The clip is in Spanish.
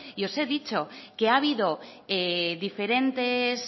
os he dicho que ha habido diferentes